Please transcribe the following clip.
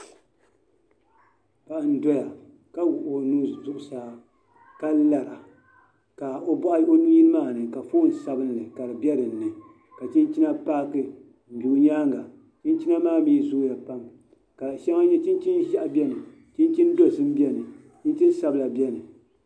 Paɣa n doya ka wuɣi o nuu zuɣusaa ka lara ka o nuu maa ni ka foon sabinli ka di bɛ dinni ka chinchina paaki n do o nyaanga chinchina maa mii zooya pam chinchini ʒiɛhi biɛni chinchini dabila biɛni